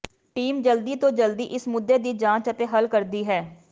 team ਜਲਦੀ ਤੋਂ ਜਲਦੀ ਇਸ ਮੁੱਦੇ ਦੀ ਜਾਂਚ ਅਤੇ ਹੱਲ ਕਰਦੀ ਹੈ